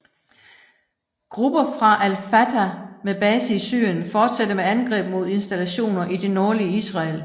Grupper fra Al Fatah med base i Syrien fortsatte med angreb mod installationer i det nordlige Israel